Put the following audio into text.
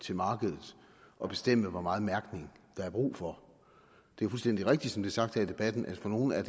til markedet at bestemme hvor meget mærkning der er brug for det er fuldstændig rigtigt som det er sagt her i debatten at for nogle er